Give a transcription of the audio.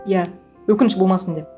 иә өкініш болмасын деп